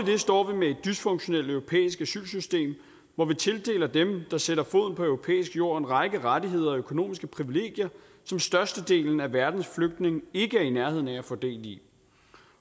det står vi med et dysfunktionelt europæisk asylsystem hvor vi tildeler dem der sætter foden på europæisk jord en række rettigheder og økonomiske privilegier som størstedelen af verdens flygtninge ikke er i nærheden af at få del i